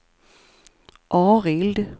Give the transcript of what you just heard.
Arild